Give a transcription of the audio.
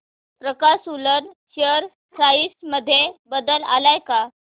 प्रकाश woollen share price मध्ये बदल आलाय का